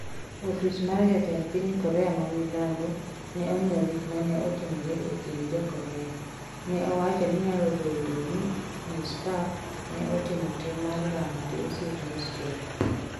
Ofis mar jatend piny Korea ma milambo ne ong’iewo gik ma ne otimore e kind jo Korea, ne wacho ni nyalo bedo ni Ms Park ne otimo tim mar lamo gi osiep Ms Choi.